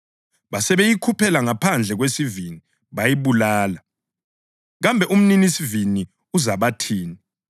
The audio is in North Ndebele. Basebeyikhuphela ngaphandle kwesivini, bayibulala. Kambe umninisivini uzabathini?